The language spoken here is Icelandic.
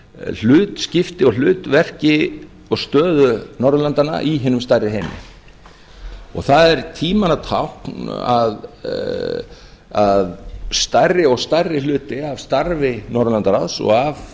hlutskipti og hlutverki og stöðu norðurlandanna í hinum stærri heimi það er tímanna tákn að stærri og stærri hluti af starfi norðurlandaráðs og af